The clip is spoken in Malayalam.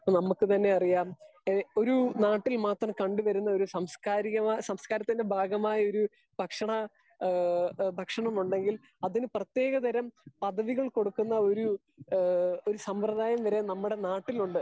സ്പീക്കർ 2 ഇപ്പൊ നമ്മക്ക് തന്നെ അറിയാം ഒര് നാട്ടിൽ മാത്രം കണ്ട് വരുന്ന ഒര് സാംസ്കാരിക സാസ്‌കാരത്തിന്റെ ഭാഗമായ ഒര് ഭക്ഷണ ഏഹ് ഭക്ഷണ മുണ്ടെങ്കിൽ അതിന് പ്രേതെകതരം പത്തികൾ കൊടുക്കന്ന ഒര് ഏഹ് ഒര് സമ്പ്രതായം വരെ നമ്മുടെ നാട്ടിലിണ്ട് .